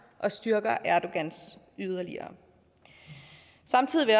og styrker erdogan yderligere samtidig vil